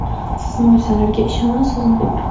Siz mo‘jizalarga ishonasizmi?